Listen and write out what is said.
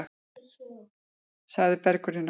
Sagði Bergur í nótt.